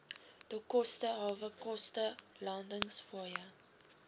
dokkoste hawekoste landingsfooie